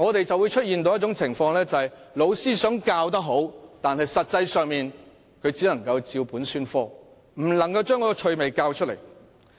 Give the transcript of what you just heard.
在這種情況下，雖然老師想教得好，但實際上他只能照本宣科，不能教出趣味來。